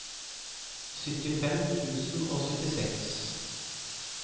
syttifem tusen og syttiseks